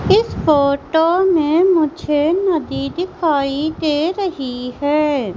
इस फोटो मे मुझे नदी दिखाई दे रही है।